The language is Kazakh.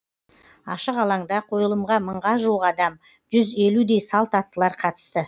ашық алаңда қойылымға мыңға жуық адам жүз елудей салт аттылар қатысты